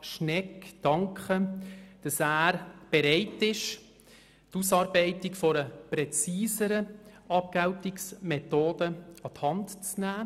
Schnegg für die Bereitschaft danken, die Ausarbeitung einer präzisieren Abgeltungsmethode an die Hand zu nehmen.